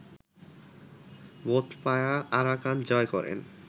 বোধপায়া Arakan জয় করেন